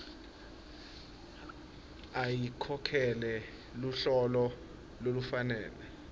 ayikhokhele luhlolo lolufanele